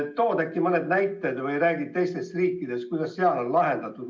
Too mõni näide teistest riikidest, kuidas seal on asi lahendatud.